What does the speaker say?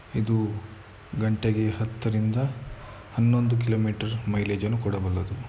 ಇದು ಗಂಟೆಗೆ ಹತ್ತರಿಂದ ಹನ್ನೊಂದು ಕಿಲೋಮೀಟರ್ ಮೈಲೇಜ್ ಅನ್ನು ಕೊಡಬಲ್ಲದು.